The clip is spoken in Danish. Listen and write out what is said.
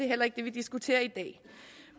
heller ikke det vi diskuterer i dag